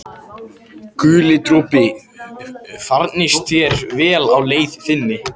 Guli dropi, farnist þér vel á leið þinni.